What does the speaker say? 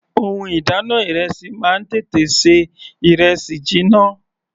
Ohun ìdáná ìrẹsì máa ń tètè ṣe ìrẹsì jiná.